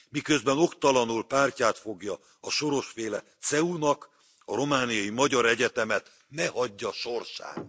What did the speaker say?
Miközben oktalanul pártját fogja a Soros féle CEU nak, a romániai magyar egyetemet ne hagyja sorsára!